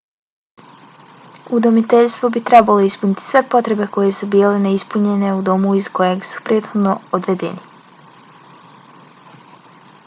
udomiteljstvo bi trebalo ispuniti sve potrebe koje su bile neispunjene u domu iz kojeg su prethodno odvedeni